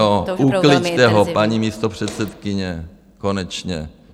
Jo, ukliďte ho, paní místopředsedkyně, konečně.